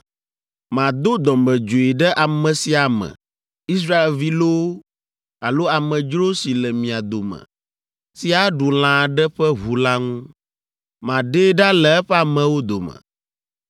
“ ‘Mado dɔmedzoe ɖe ame sia ame, Israelvi loo alo amedzro si le mia dome, si aɖu lã aɖe ƒe ʋu la ŋu. Maɖee ɖa le eƒe amewo dome.